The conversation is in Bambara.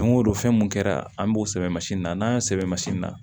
Don o don fɛn mun kɛra an b'o sɛbɛn na y'a sɛbɛn na